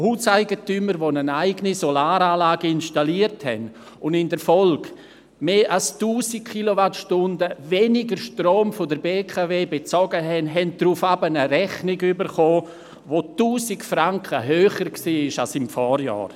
Hauseigentümer, die eine eigene Solaranlage installiert und in der Folge mehr als 1000 Kilowattstunden weniger Strom von der BKW bezogen haben, erhielten danach eine Rechnung, die 1000 Franken höher war als im Vorjahr.